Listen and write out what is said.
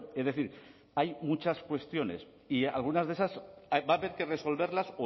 es decir hay muchas cuestiones y algunas de esas va a haber que resolverlas